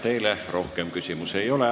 Teile rohkem küsimusi ei ole.